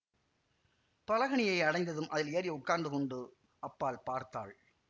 பலகணியை அடைந்ததும் அதில் ஏறி உட்கார்ந்து கொண்டு அப்பால் பார்த்தாள்